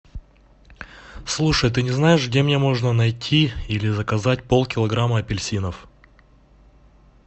слушай ты не знаешь где можно найти или заказать полкилограмма апельсинов